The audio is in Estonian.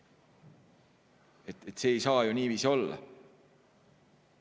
See ei saa ju niiviisi olla!